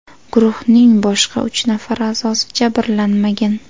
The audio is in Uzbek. Guruhning boshqa uch nafar a’zosi jabrlanmagan.